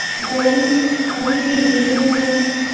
ਉਹ ਵੀ ਠੀਕ ਉਹ ਵੀ ਠੀਕ ਨਹੀਂ ਆ ਉਹ।